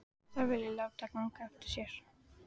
Þær vilja láta ganga eftir sér.